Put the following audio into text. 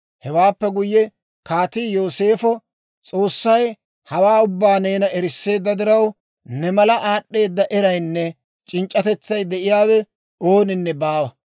Hewaappe guyye kaatii Yooseefo, «S'oossay hawaa ubbaa neena erisseedda diraw, ne mala aad'd'eeda eraynne c'inc'c'atetsay de'iyaawe ooninne baawa.